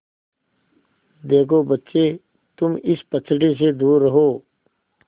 देखो बच्चे तुम इस पचड़े से दूर रहो